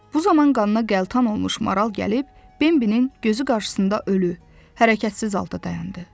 Bu zaman qanına qəltan olmuş maral gəlib, Bembinin gözü qarşısında ölü, hərəkətsiz halda dayandı.